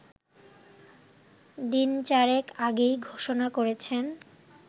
দিনচারেক আগেই ঘোষণা করেছেন